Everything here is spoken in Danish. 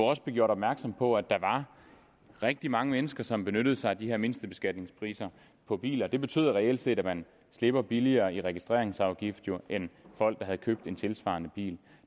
også blev gjort opmærksom på at der var rigtig mange mennesker som benyttede sig af de her mindstebeskatningspriser på biler det betyder reelt set at man slipper billigere i registreringsafgift end folk der har købt en tilsvarende bil